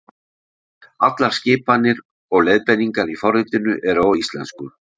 Allar skipanir og leiðbeiningar í forritinu eru á íslensku.